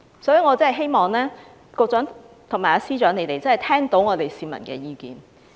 所以，我希望局長和司長會聆聽市民的意見。